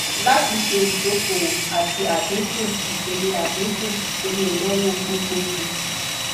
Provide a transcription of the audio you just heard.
lati ṣe idokoowo ati adinku ipele adinku ipele inawo gbogbogbo